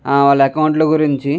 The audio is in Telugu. ఆహ్ వాలా అకౌంట్ ల గురించి--